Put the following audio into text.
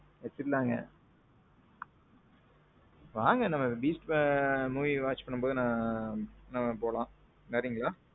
பாத்துக்கலாங்க. வாங்க நம்ம beast படம் watch பண்ணும்போது நம்ம போலாம். வர்றீங்களா?